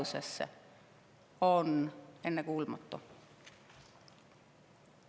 See on ennekuulmatu.